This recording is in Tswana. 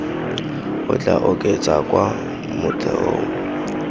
o tla oketsa kwa motheong